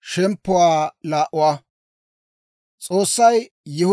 Med'inaa Godaa k'aalay taw yiide,